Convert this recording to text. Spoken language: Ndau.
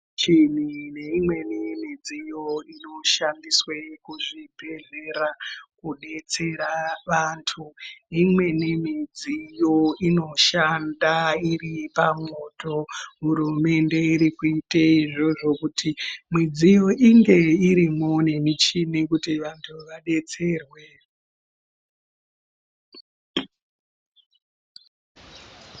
Michini neimweni midziyo inoshandiswe muzvibhedhlera kudetsera vantu, imweni midziyo inoshanda iri pamwoto. Hurumende iri kuite zviro zvokuti midziyo inge irimwo nemichini kuti vantu vadetserwe